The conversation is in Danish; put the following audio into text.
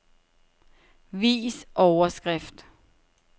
Vis overskrift.